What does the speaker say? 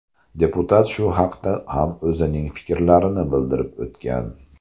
Deputat shu haqda ham o‘zining fikrlarini bildirib o‘tgan.